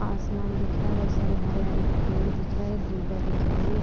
आसमान दिख रहा है। बहोत सारा हरि हरि पेड़ दिख रहे हैं। धुर्वा दिख रही है।